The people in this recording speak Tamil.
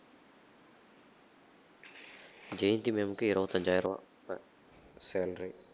ஜெயந்தி ma'am க்கு இருவத்தி அஞ்சாயிரம் ரூவா salary